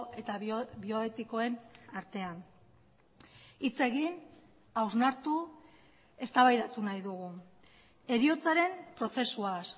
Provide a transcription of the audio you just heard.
eta bioetikoen artean hitz egin hausnartu eztabaidatu nahi dugu heriotzaren prozesuaz